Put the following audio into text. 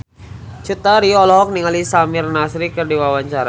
Cut Tari olohok ningali Samir Nasri keur diwawancara